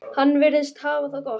Hann virðist hafa það gott.